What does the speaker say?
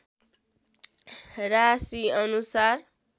राशिअनुसार